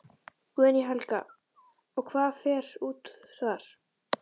Guðný Helga: Og hvað fer út þar?